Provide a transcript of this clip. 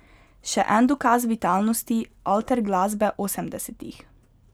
Še en dokaz vitalnosti alter glasbe osemdesetih.